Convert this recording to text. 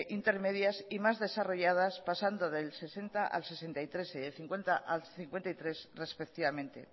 intermedias y más desarrolladas pasando del sesenta al sesenta y tres y del cincuenta al cincuenta y tres respectivamente